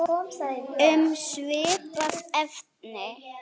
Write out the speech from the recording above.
Um svipað efni